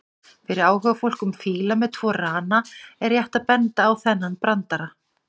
Fyrir áhugafólk um fíla með tvo rana er rétt að benda á þennan brandara: